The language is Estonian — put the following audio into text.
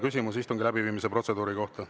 Küsimus istungi läbiviimise protseduuri kohta.